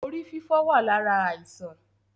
Orí fífọ́ wá lára àìsàn